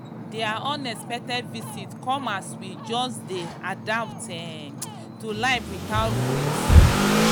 their unexpected visit come as we we just dey adapt um to life without roommates.